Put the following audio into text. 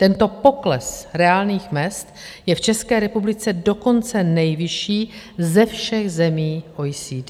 Tento pokles reálných mezd je v České republice dokonce nejvyšší ze všech zemí OECD.